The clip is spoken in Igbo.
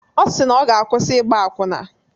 Ọ si na ọ ga-akwụsị ịgba akwụna.